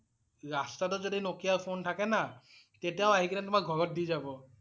ৰাস্তাতও যদি Nokia phone থাকে না, তেতিয়াও আহি কেনে তোমাক ঘৰত দি যাব ।